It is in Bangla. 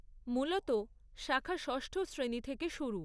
মূলত শাখা যষ্ঠ শ্রেণী থেকে শুরু।